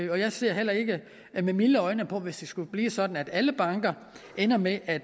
jeg ser heller ikke med milde øjne på hvis det skulle blive sådan at alle banker ender med at